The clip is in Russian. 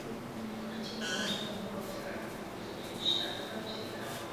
картина майка николса рапунцель счастлива навсегда